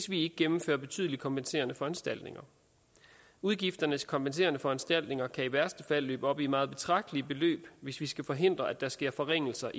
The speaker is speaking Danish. vi gennemfører betydelige kompenserende foranstaltninger udgifterne til kompenserende foranstaltninger kan i værste fald løbe op i et meget betragteligt beløb hvis vi skal forhindre at der sker forringelser